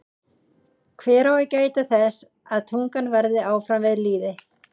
Hver á að gæta þess að tungan verði áfram við lýði?